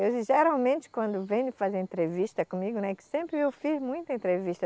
Eles geralmente quando vêm fazer entrevista comigo, né, que sempre eu fiz muita entrevista,